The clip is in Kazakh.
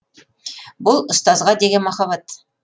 бұл ұстазға деген махаббат